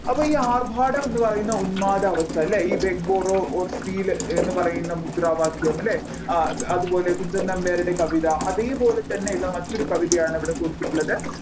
അപ്പോൾ ഈ ആർഭാടം എന്നീ പറയുന്നഈ ഉന്മാദ അവസ്ഥ ഈ beg borrow or steal എന്ന് പറയുന്ന മുദ്രാവാക്യം അല്ലേ ആ അതുപോലെ കുഞ്ചൻനമ്പ്യാരുടെ കവിത അതേപോലെ തന്നെയുള്ള മറ്റൊരു കവിതയാണ് ഇവിടെ കൊടുത്തിട്ടുള്ളത്